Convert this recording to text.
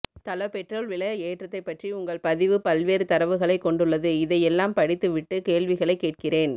தல பெட்ரோல் விலை ஏற்றத்தை பற்றி உங்கள் பதிவு பல்வேறு தரவுகளை கொண்டுள்ளது இதை எல்லாம்படித்து விட்டு கேள்விகளை கேட்கிறேன்